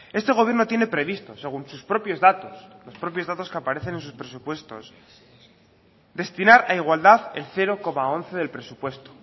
este gobierno tiene previsto según sus propios datos los propios datos que aparecen en sus presupuestos destinar a igualdad el cero coma once del presupuesto